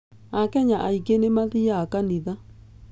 Akenya aingĩ nĩ mathiaga kanitha.